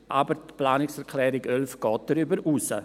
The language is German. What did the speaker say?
Die Planungserklärung 11 geht jedoch darüber hinaus.